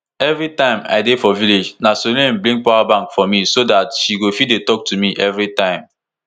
evritime i dey for village na salome bring power bank for me so dat she go fit dey tok to me evritime